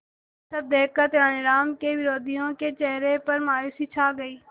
यह सब देखकर तेनालीराम के विरोधियों के चेहरे पर मायूसी छा गई